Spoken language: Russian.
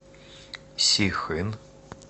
сихын